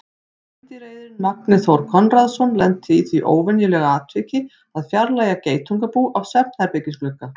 Meindýraeyðirinn Magni Þór Konráðsson lenti í því óvenjulega atviki að fjarlægja geitungabú af svefnherbergisglugga.